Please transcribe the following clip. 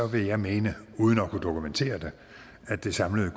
vil jeg mene uden at kunne dokumentere det at det samlede